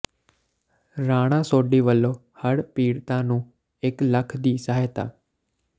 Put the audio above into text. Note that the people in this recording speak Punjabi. ਰਾਣਾ ਸੋਢੀ ਵੱਲੋਂ ਹੜ੍ਹ ਪੀੜਤਾਂ ਨੂੰ ਇੱਕ ਲੱਖ ਦੀ ਸਹਾਇਤਾ